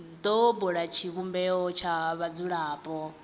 do bula tshivhumbeo tsha vhadzulapo